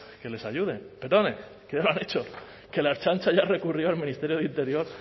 que les ayuden perdonen que ya lo han hecho que la ertzaintza ya recurrió al ministerio de interior